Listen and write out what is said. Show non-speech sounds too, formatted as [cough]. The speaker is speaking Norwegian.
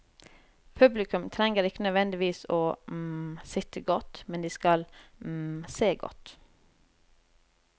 Publikum trenger ikke nødvendigvis å [hesitation] sitte godt, men de skal [hesitation] se godt.